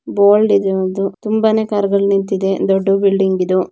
Bold ಇದೆ ಒಂದು ತುಂಬಾನೇ ಕಾರುಗಳು ನಿಂತಿದೆ ದೊಡ್ಡ ಬಿಲ್ಡಿಂಗ್ ಇದು.